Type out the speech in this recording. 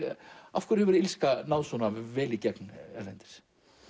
af hverju hefur illska náð svona vel í gegn erlendis